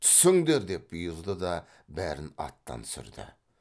түсіңдер деп бұйырды да бәрін аттан түсірді